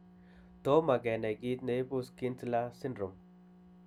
Tomo kenai kiit neibu Schnitzler syndrome